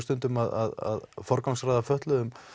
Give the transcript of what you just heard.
stundum að forgangsraða fötluðum